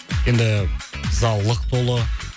енді зал лық толы